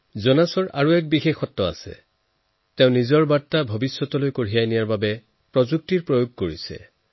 জোনাছৰ আন এক বৈশিষ্ট্য আছে তেওঁ নিজৰ বাৰ্তা সকলোৰ ওচৰলৈ পঠোৱাৰ বাবে প্ৰযুক্তিৰ ব্যৱহাৰ কৰিছে